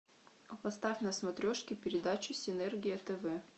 поставь на смотрешке передачу синергия тв